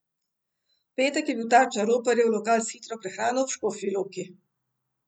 V petek je bil tarča roparjev lokal s hitro prehrano v Škofji Loki.